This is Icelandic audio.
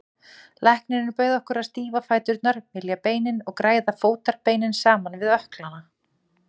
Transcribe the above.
Læknirinn bauð okkur að stífa fæturna, mylja beinin og græða fótarbeinin saman við ökklana.